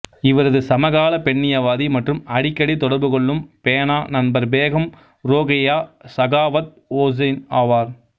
இவரது சமகால பெண்ணியவாதி மற்றும் அடிக்கடி தொடர்பு கொள்ளும் பேனா நண்பர் பேகம் ரோகேயா சகாவத் ஒசைன் ஆவார்